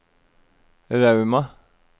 Rauma